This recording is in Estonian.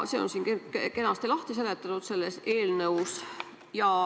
See on siin eelnõus kenasti lahti seletatud.